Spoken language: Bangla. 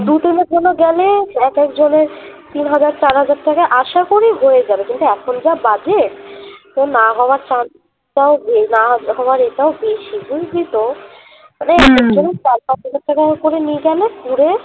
দু দিনের জন্য গেলে এক এক জনের তিন হাজার চার হাজার টাকায় আশা করি হয়ে যাবে কিন্তু এখন যা বাজে তোর না হওয়ার chance টাও অথবা rate টাও বেশি বুঝলি তো মানে চার পাঁচ হাজার টাকা করে নিয়ে গেলে ঘুরে